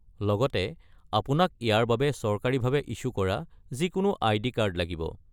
লগতে আপোনাক ইয়াৰ বাবে চৰকাৰীভাৱে ইছ্যু কৰা যিকোনো আইডি কাৰ্ড লাগিব।